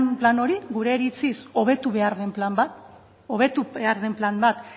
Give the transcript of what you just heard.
plan hori gure iritziz hobetu behar den plan bat hobetu behar den plan bat